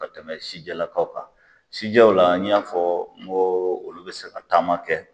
Ka tɛmɛ sijɛlakaw kan sijɛw la n y'a fɔ n ko olu bɛ se ka taama kɛ.